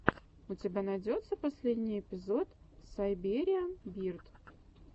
у тебя найдется последний эпизод сайбериан бирд